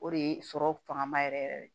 O de ye sɔrɔ fangaba yɛrɛ yɛrɛ yɛrɛ ye